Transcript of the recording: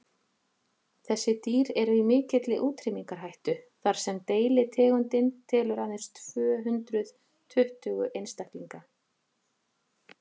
þessi dýr eru í mikilli útrýmingarhættu þar sem deilitegundin telur aðeins tvö hundruð tuttugu einstaklinga